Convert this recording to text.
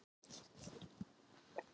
Dedda, hvað er lengi opið í Kjörbúðinni?